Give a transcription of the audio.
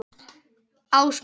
Ásmundur